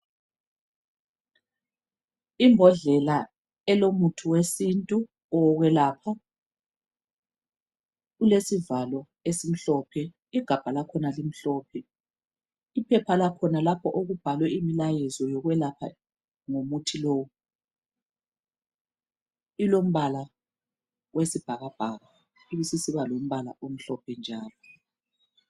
Imbodlela elomuthi wesintu owokwelapha , ilesivalo esimhlophe , igabha lakhona limhlophe , uphepha lakhona lapho okubhalwe imlayezo wokwelapha ngomuthi lowu , ilombala wesibhakabhaka, ibisisiba lombala omhlophe njalo